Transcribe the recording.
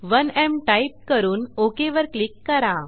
1एम type करून OK वर click करा